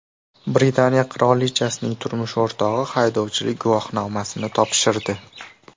Britaniya qirolichasining turmush o‘rtog‘i haydovchilik guvohnomasini topshirdi.